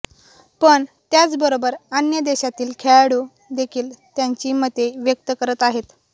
पण त्याच बरोबर अन्य देशातील खेळाडू देखील त्याची मते व्यक्त करत आहेत